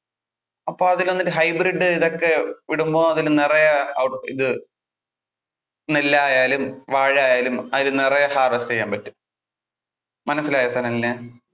അപ്പോൾ അതില് വന്നിട്ട് hybrid ഇതൊക്കെ ഇടുമ്പോൾ അതിൽ നിറയെ അഹ് ഇത് നെല്ലായാലും, വാഴയായാലും അതിൽ നിറയെ harvest ചെയ്യാൻ പറ്റും. മനസ്സിലായോ സനലിനു.